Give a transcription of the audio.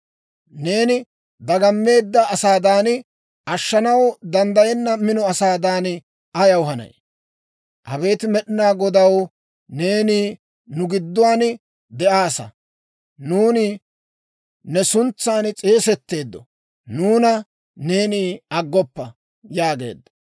Neeni dagammeedda asaadan, ashshanaw danddayenna mino asaadan ayaw hanay? Abeet Med'inaa Godaw, neeni nu gidduwaan de'aassa! Nuuni ne suntsan s'eesetteedda; nuuna neeni aggoppa!» yaageedda.